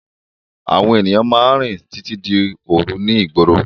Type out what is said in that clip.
Àwọn ènìyàn máa ń rìn títí di òru ní ìgboro.